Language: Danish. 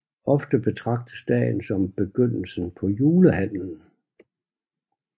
Ofte betragtes dagen som begyndelsen på julehandlen